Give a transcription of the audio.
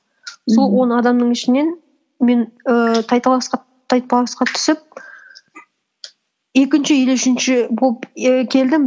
сол он адамның ішінен мен ііі тай таласқа тайпаласқа түсіп екінші или үшінші болып ііі келдім